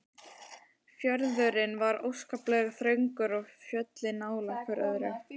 Fjörðurinn var óskaplega þröngur og fjöllin nálægt hvert öðru.